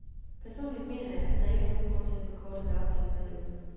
Personligt mener jeg, at der ikke er nogen grund til at forkorte dagpengeperioden.